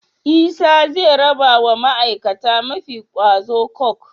Isa ze rabawa ma aikata mafi kwazo coke